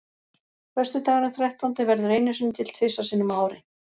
Föstudagurinn þrettándi verður einu sinni til þrisvar sinnum á ári.